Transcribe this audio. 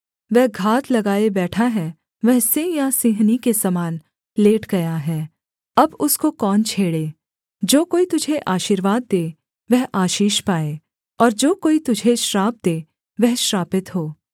वह घात लगाए बैठा है वह सिंह या सिंहनी के समान लेट गया है अब उसको कौन छेड़े जो कोई तुझे आशीर्वाद दे वह आशीष पाए और जो कोई तुझे श्राप दे वह श्रापित हो